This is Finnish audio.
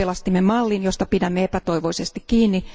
Me pelastimme mallin, josta pidämme epätoivoisesti kiinni.